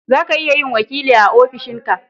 zaka iya yin wakili a ofishin ka